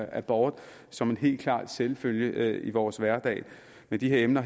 abort som en helt klar selvfølgelighed i vores hverdag men de emner